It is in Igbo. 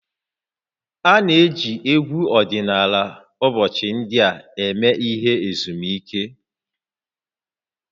A na-eji egwu ọdịnala ụbọchị ndị a eme ihe ezumike